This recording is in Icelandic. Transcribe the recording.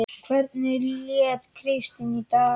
Hvernig lét Kristín í dag?